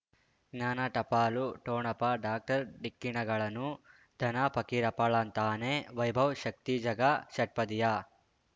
ಜ್ಞಾನ ಟಪಾಲು ಠೊಣಪ ಡಾಕ್ಟರ್ ಢಿಕ್ಕಿ ಣಗಳನು ಧನ ಫಕೀರಪ್ಪ ಳಂತಾನೆ ವೈಭವ್ ಶಕ್ತಿ ಝಗಾ ಷಟ್ಪದಿಯ